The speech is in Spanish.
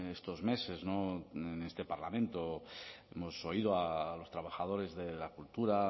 estos meses en este parlamento hemos oído a los trabajadores de la cultura